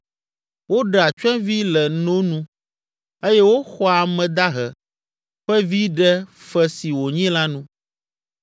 Woɖea tsyɔ̃evi le no nu eye woxɔa ame dahe ƒe vi ɖe fe si wònyi la nu.